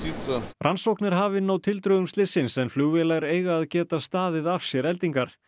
rannsókn er hafin á tildrögum slyssins en flugvélar eiga að geta staðið af sér eldingar